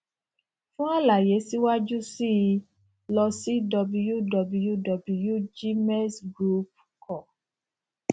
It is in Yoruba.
fún àlàyé síwájú sí i lọ sí wwwgmexgroupcom